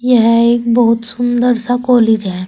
यह एक बहुत सुंदर सा कॉलेज है।